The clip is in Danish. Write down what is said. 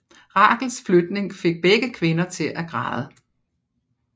Rachels flytning fik begge kvinder til at græde